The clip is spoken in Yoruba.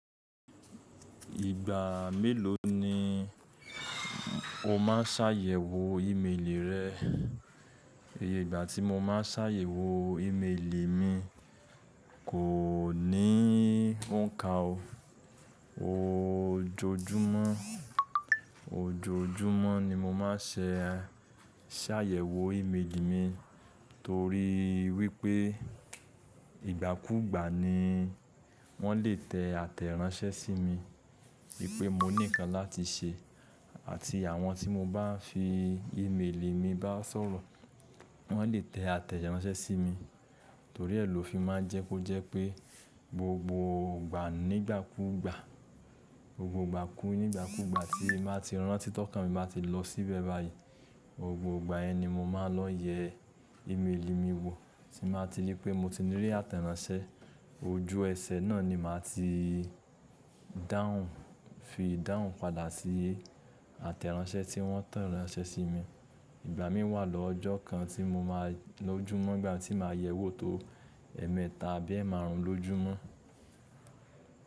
Ìgbà mélòó ni o má ń sàyẹ̀wò ímeèlì rẹ? Ìgbà tí mo má ń sàyẹ̀wò ímeèlì mi kò ní òǹkà o. Ojoojúmọ́, ojoojúmọ́ ni mo má ń sẹ̀ sàyẹ̀wò ímeèlì mi torí wípé ìgbàkúgbà ni wọ́n lè tẹ àtẹ̀ránsẹ́ sí mi wípé mo ní ǹkan láti ṣe àti àwọn tí mo bá ń fi ímeèlì mi bá sọ̀rọ̀ wọ́n lè tẹ àtẹ̀ránsẹ́ sí mi torí ẹ̀ ló fi máa ń jẹ́ kó jẹ́ pé gbogbo ìgbà nígbàkúgbà, gbogbo ìgbà kù nígbàkúgbà tí n bá ti rántí tọ́kàn mi ba ti lọ síbẹ̀ báyìí gbogbo ìgbà yẹn ni mo máa ń lọ yẹ ímeèlì mi wò tí màá ti rí i pé mo ti rí àtẹ̀ránsẹ́, ojú ẹsẹ̀ náà ni màá ti dáhùn fi dáhùn padà sí àtẹ̀ránsẹ́ tí wọ́n tẹ̀ránsẹ́ sí mi. Ìgbà mí wà lọ́jọ́ kan tí mo máa lójúmọ́ ìgbà tí màá yẹ̀wò tó ẹ̀ẹ̀mẹ́ta àbí ẹ́ márùn ún lójúmọ́.